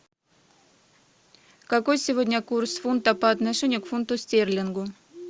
какой сегодня курс фунта по отношению к фунту стерлингу